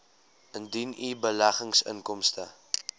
indien u beleggingsinkomste